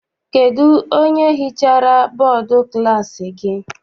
Kedụ onye hichara bọdu klassi gị?